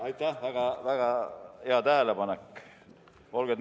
Aitäh, väga-väga hea tähelepanek!